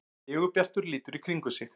Sigurbjartur lítur í kringum sig.